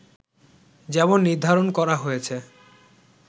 যেমন নির্ধারণ করা হয়েছে